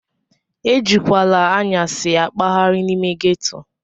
Ejikwala anyasi akpaghari n'ime ghetto!